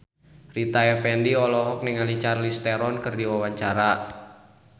Rita Effendy olohok ningali Charlize Theron keur diwawancara